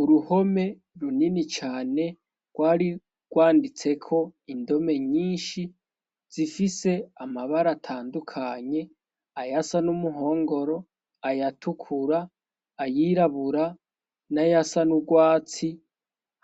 Uruhome runini cane rwari rwanditseko indome nyinshi zifise amabara atandukanye ayasa n'umuhongoro ayatukura ayirabura n'ayasa n'urwatsi